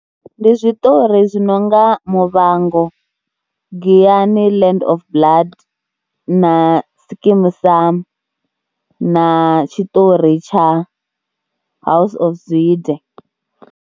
Ndi zwiṱori zwi no nga Muvhango, Giyani Land of blood na Skeem Saam na tshiṱori tsha House of Zwide.